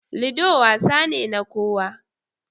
Ludo wasa ne na kowa.